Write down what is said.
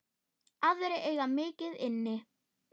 Aðrir eiga mikið inni.